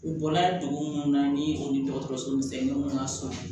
U bɔla dugu munnu na ni o ni dɔgɔtɔrɔso misɛnninw ka surun